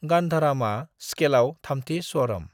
गांधरामा स्खेलाव थामथि स्वारम।